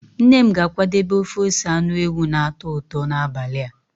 Nne m ga-akwadebe ofe ose anụ ewu na-atọ ụtọ n'abalị a.